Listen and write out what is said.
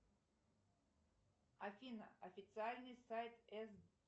афина официальный сайт с